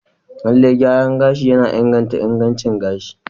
Lallai, gyaran gashi yana inganta ingancin gashi.